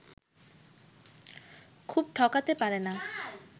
খুব ঠকাতে পারে না